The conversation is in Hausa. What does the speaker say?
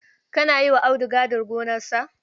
Kana yi wa Audu gadin garkarsa.